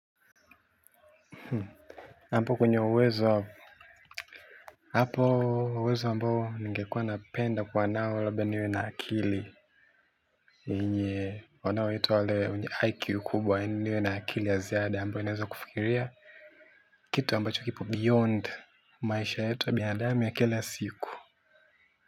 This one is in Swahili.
Hapo kwenye uwezo hapo uwezo ambao ningekuwa napenda kwa nao labda niwe na akili nye wanao ita wale wenye iq kubwa niwe na akili ya ziada ambayo inaweza kufikiria kitu ambacho kipo beyond maisha yetu ya binadamu ya kila siku.